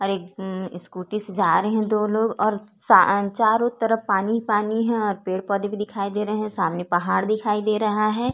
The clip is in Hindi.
और ऐक स्कूटी से जा रहे है दो लोग और चा चारों तरफ पानी ही पानी है और पेड़ पौधे भी दिखाई दे रहे हैं सामने पहाड़ दिखाई दे रहा है।